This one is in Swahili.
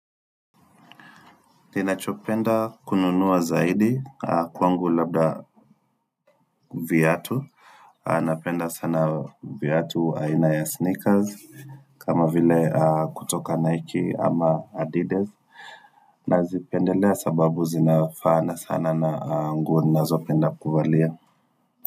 Ninachopenda kununua zaidi kwangu labda viatu. Napenda sana viatu aina ya sneakers kama vile kutoka Nike ama Adidas. Nazipendelea sababu zinafaana sana na nguo ninazopenda kuvalia.